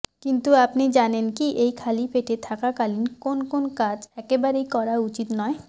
কিন্তু আপনি জানেন কি এই খালি পেটে থাকাকালীন কোন কোন কাজ একেবারেই করা উচিত নয়